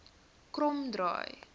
kromdraai